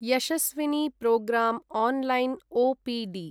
Yashaswini programme online OPD